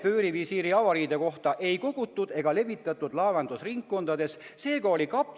Vöörivisiiri avariide kohta ei kogutud ega levitatud laevandusringkondades süstemaatilist informatsiooni.